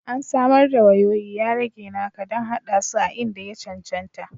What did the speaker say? An samar da wayoyi, ya rage naka don haɗa su a inda ya cancanta